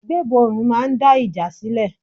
Gbébọrùn máa ń dá ìjà sílẹ̀.